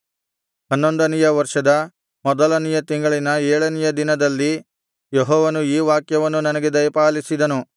ಹನ್ನೊಂದನೆಯ ವರ್ಷದ ಮೊದಲನೆಯ ತಿಂಗಳಿನ ಏಳನೆಯ ದಿನದಲ್ಲಿ ಯೆಹೋವನು ಈ ವಾಕ್ಯವನ್ನು ನನಗೆ ದಯಪಾಲಿಸಿದನು